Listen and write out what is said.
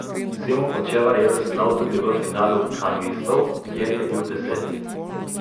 Simon Hočevar je veslal tudi v finalu kanuistov, kjer je bil deseti.